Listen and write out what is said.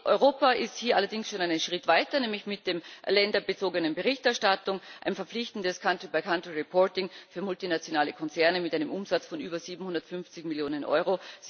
Europa ist hier allerdings schon einen Schritt weiter, nämlich mit der länderbezogenen Berichterstattung, einem verpflichtenden Country by Country Reporting für multinationale Konzerne mit einem Umsatz von über 750 Millionen Euro.